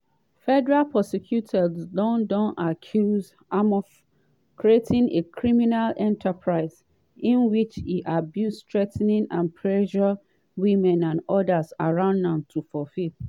federal prosecutors dondon accuse amof "creating a criminal enterprise" in which e "abused threa ten and pressure women and odas around am to fulfil